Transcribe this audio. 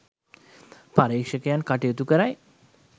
පර්යේෂකයන් කටයුතු කරයි